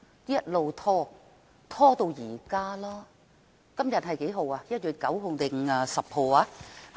一直拖延至今，今天是1月9日，還是10日？